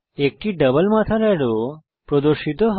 একটি ডাবল মাথার অ্যারো প্রদর্শিত হয়